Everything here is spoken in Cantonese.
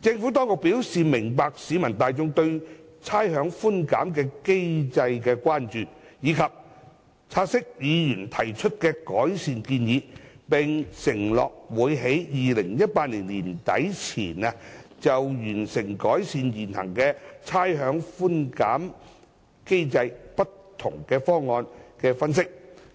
政府當局表示明白市民大眾對差餉寬減機制的關注，亦察悉議員提出的改善建議，並承諾會在2018年年底前，完成就改善現行差餉寬減機制不同方案的分析，以